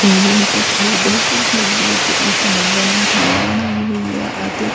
ਇਹ ਇੱਕ ਖੇਤ ਹੈ ਖੇਤ ਵਿੱਚ ਇੱਕ ਲੱਗਣ ਨੂੰ ਥਾਂ ਬਣਾਈ ਹੋਈ ਆ ਅਤੇ --